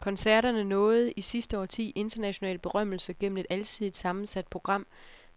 Koncerterne nåede i sidste årti international berømmelse gennem et alsidigt sammensat program